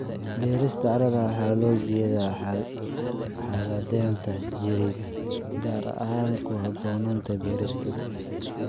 Beerista carrada waxaa loola jeedaa xaaladdeeda jireed, gaar ahaan ku habboonaanta beerista.